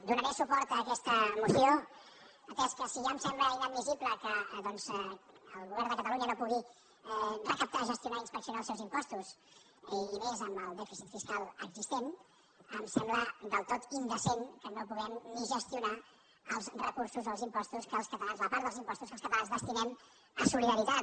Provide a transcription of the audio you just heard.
do·naré suport a aquesta moció atès que si ja em sembla inadmissible que doncs el govern de catalunya no pugui recaptar gestionar i inspeccionar els seus im·postos i més amb el dèficit fiscal existent em sembla del tot indecent que no puguem ni gestionar els recur·sos o els impostos la part dels impostos que els cata·lans dediquem a solidaritat